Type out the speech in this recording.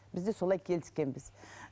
бізде солай келіскенбіз